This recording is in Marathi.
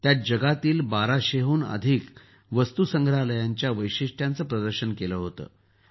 त्यात जगातील १२०० हून अधिक वस्तुसंग्रहालयांच्या वैशिष्टयांचं प्रदर्शन केलं होतं